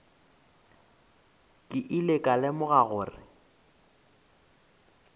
ke ile ka lemoga gore